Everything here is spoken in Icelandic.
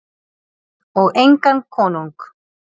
Og engan konung.